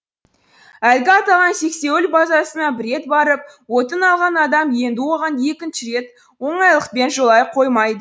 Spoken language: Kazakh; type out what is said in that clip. әлгі аталған сексеуіл базасына бір рет барып отын алған адам енді оған екінші рет оңайлықпен жолай қоймайды